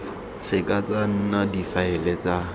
seke tsa nna difaele tsa